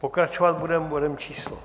Pokračovat budeme bodem číslo